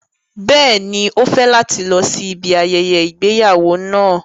Bẹ́ẹ̀ni, o fẹ lati lọ si ibi ayẹyẹ igbeyawo náà